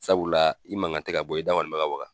Sabula i mankan tɛ ka bɔ i da kɔni be ka waka .